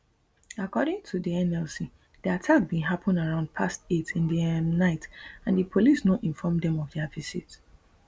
according to di nlc di attack bin happun around past eight in di um night and di police no inform dem of dia visit